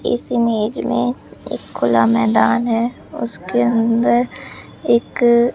इस इमेज में एक खुला मैदान है उसके अंदर एक--